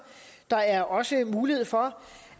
der er også mulighed for